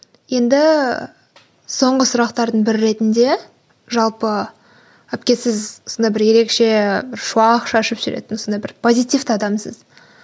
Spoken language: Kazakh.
енді соңғы сұрақтардың бірі ретінде жалпы әпке сіз сондай бір ерекше шуақ шашып жүретін сондай бір позитивті адамсыз